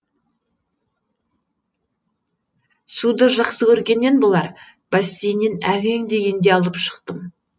суды жақсы көргеннен болар бассейннен әрең дегенде алып шықтым